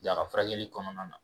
a ka furakɛli kɔnɔna na